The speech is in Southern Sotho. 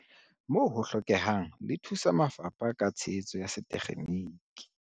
Moo ho hlokehang, le thusa mafapha ka tshehetso ya setekgeniki.